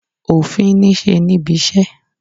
Òfin niṣe nibise.